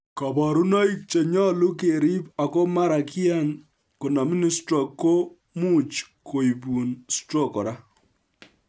Kabarunoik che nyolu kerib ako mara kiyan konomin stroke ko much koibun stroke kora